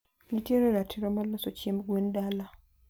ntiere ratiro mar loso chiemb gwen dala.